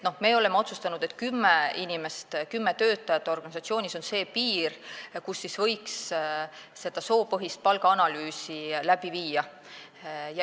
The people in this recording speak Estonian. Me oleme otsustanud, et kümme töötajat organisatsioonis on see piir, kui võiks soopõhist palgaanalüüsi läbi viia.